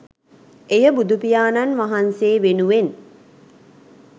එය බුදුපියාණන් වහන්සේ වෙනුවෙන්